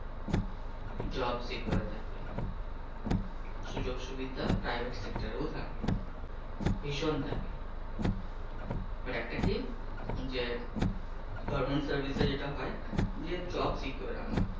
job secure থাকে। সুযোগ সুবিধা private sector থাকে, ভীষণ থাকে। কিন্তু একটা কি যে, government চাকরি যেটা হয় যে চাকরি secure আমার